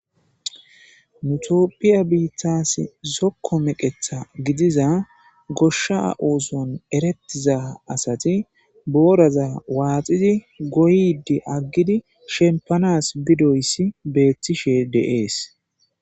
nu toopphiya biittas zokko meqetha gidiza goshsha ooson erettiza asati booraza waaxidi goydi aggidi shempanas bidoyssi beettishe de7ees